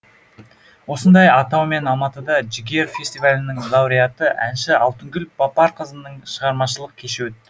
осындай атаумен алматыда жігер фестивалінің лауреаты әнші алтынгүл бапарқызының шығармашылық кеші өтті